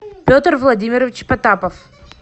петр владимирович потапов